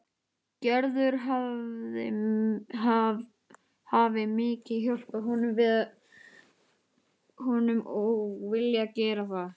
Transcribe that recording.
Gerður hafi mikið hjálpað honum og viljað gera það.